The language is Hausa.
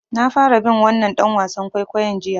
Na fara bin wannan ɗan wasan kwaikwayon jiya.